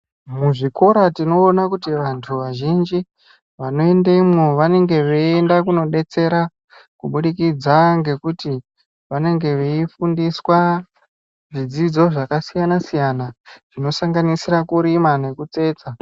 Muzvikora tinoona kuti vandu vazhinji vano endemwo vanenge veyiende kunodetsera kubudikidza nekuti vanenge veifundiswa zvidzidzo zvakasiyana siyana zvino sanganisira kurima nekutsetsa.